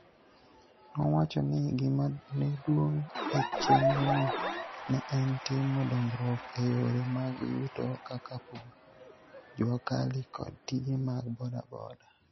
Nowacho ni, gima ne duong' e chenrono ne en timo dongruok e yore mag yuto kaka pur, Jua Kali kod tije mag boda boda.